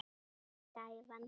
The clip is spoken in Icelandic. Mín var gæfan.